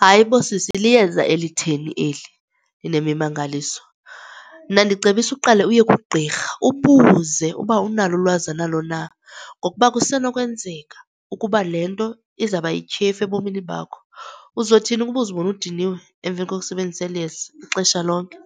Hayi bo, sisi, liyeza elitheni eli linemimangaliso? Mna ndicebisa uqale uye kugqirha ubuze ukuba unalo ulwazi analo na ngokuba kusenokwenzeka ukuba le nto izawuba yityhefu ebomini bakho. Uzothini ukuba uzibone udiniwe emveni kokusebenzisa eli yeza ixesha lonke,